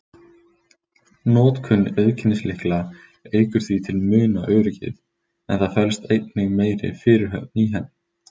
Notkun auðkennislykla eykur því til muna öryggið, en það felst einnig meiri fyrirhöfn í henni.